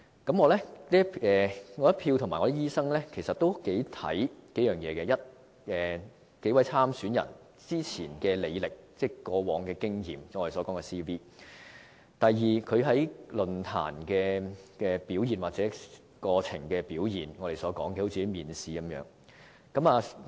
我和其他醫生頗為關注數方面：第一，數位參選人之前的履歷、過往的經驗；第二，他們在論壇的表現，我們把這形容為面試。